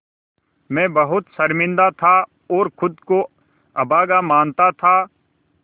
मैं बहुत शर्मिंदा था और ख़ुद को अभागा मानता था